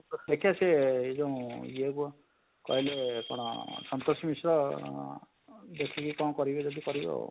ଦେଖିବା ସେ ଏଁ ଯୋଉଁ ଇଏ କହିଲେ କଣ ସନ୍ତୋଷ ମିଶ୍ର ଅଁ ଅଁ ଦେଖି କି କଣ କରିବେ ଯଦି କରିବେ ଆଉ?